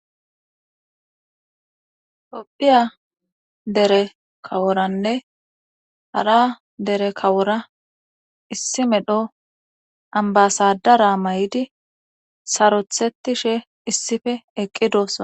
Topphiya dere kaworanne hara dere kawora issi medho ambasadara may7idi sarothetishe issife eqqidosoa.